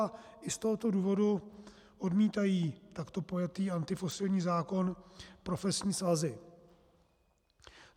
A i z tohoto důvodu odmítají takto pojatý antifosilní zákon profesní svazy.